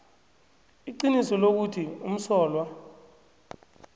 iqiniso lokuthi umsolwa